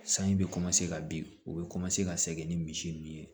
Sanji bɛ ka bin u bɛ ka segin ni misi ninnu ye